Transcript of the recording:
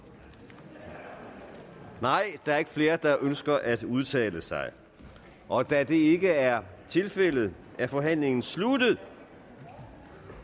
nej der er ikke flere der ønsker at udtale sig og da det ikke er tilfældet er forhandlingen sluttet